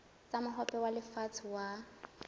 tsa mohope wa lefatshe wa